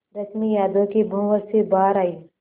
रश्मि यादों के भंवर से बाहर आई